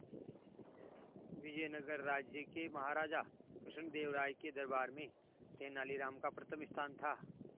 विजयनगर राज्य के महाराजा कृष्णदेव राय के दरबार में तेनालीराम का प्रथम स्थान था